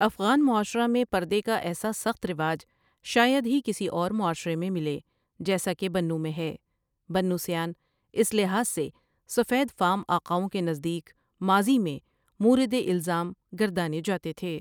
افغان معاشرہ میں پردے کا ایسا سخت رواج شاید ہی کسی اور معاشرے میں ملے جیسا کہ بنوں میں ہے بنوسیان اس لحاظ سے سفید فام آقاوں کے نزدیک ماضی میں مورد الزام گردانے جاتے تھے ۔